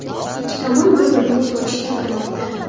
Ikki tomon bir-birini o‘t ochishda ayblamoqda.